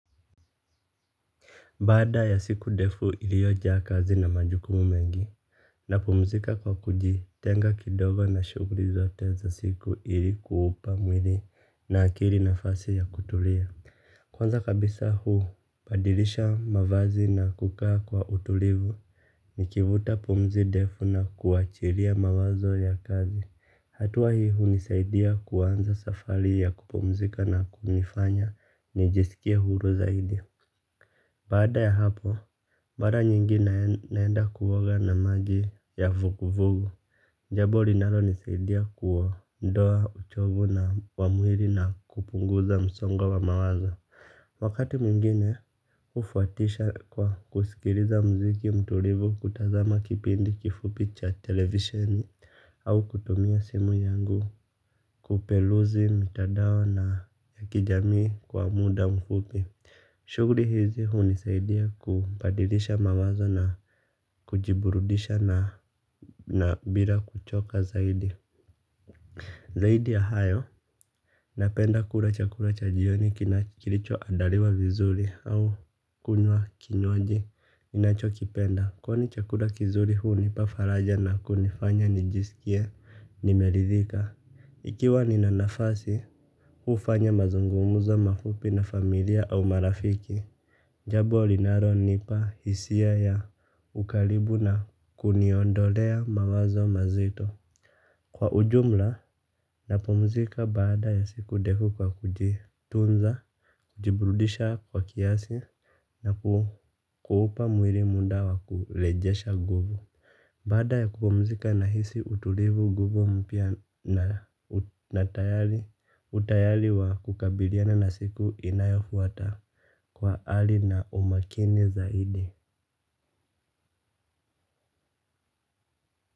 Baada ya siku defu iliojaa kazi na majukumu mengi napumzika kwa kujitenga kidogo na shuguli zote za siku ili kuupa mwili na akili nafasi ya kutulia. Kwanza kabisa hubadilisha mavazi na kukaa kwa utulivu. Nikivuta pumzi ndefu na kuachiria mawazo ya kazi. Hatua hii unisaidia kuanza safari ya kupumzika na kunifanya nijisikie huru zaidi. Baada ya hapo, mara nyingi naenda kuoga na maji ya vugu-vugu. Jabo linalo nisaidia kuondoa uchovu na wa mwili na kupunguza msongo wa mawazo. Wakati mingine, ufuatisha kwa kusikiriza mziki mtulivu kutazama kipindi kifupi cha televisioni au kutumia simu yangu kupeluzi mitadao na ya kijamii kwa muda mfupi. Shuguli hizi hunisaidia kubadilisha mamazo na kujiburudisha na bila kuchoka zaidi. Zaidi ya hayo napenda kula chakula cha jioni kilicho adaliwa vizuri au kunywa kinywaji ninacho kipenda. Kwani chakula kizuri hunipa faraja na kunifanya nijisikie nimeridhika. Ikiwa ni na nafasi ufanya mazungumuzo mafupi na familia au marafiki. Jabo linalo nipa hisia ya ukalibu na kuniondolea mawazo mazito. Kwa ujumla, napumzika baada ya siku defu kwa kujitunza, kujibrudisha kwa kiasi na kuupa mwiri muda wa kulejesha guvu. Baada ya kupumzika na hisi utulivu nguvu mpya na utayali wa kukabiliana na siku inayofuata. Kwa hali na umakini zaidi.